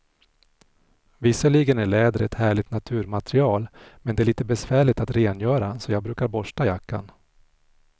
Visserligen är läder ett härligt naturmaterial, men det är lite besvärligt att rengöra, så jag brukar borsta jackan.